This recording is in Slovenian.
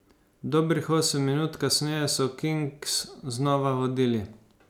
Dobrih osem minut kasneje so Kings znova vodili.